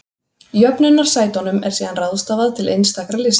Jöfnunarsætunum er síðan ráðstafað til einstakra lista.